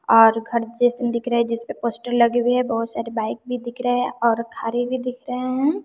और घर जइसन दिख रहे है जिस पे पोस्टर लगे हुए है बहुत सारे बाइक भी दिख रहे हैं और घरें भी दिख रहे हैं।